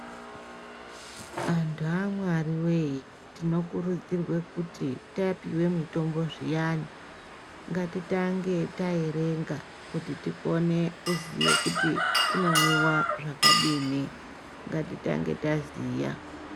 Antu aMwari weye tinokurudzirwa kuti tapiwe mitombo zviyani ngatitange taerenga kuti tikone kuziye kuti unomwiwa zvakadini ngatitange taziya.